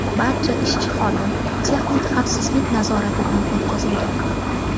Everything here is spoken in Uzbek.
Barcha ishchi-xodim texnik xavfsizlik nazoratidan o‘tkazilgan.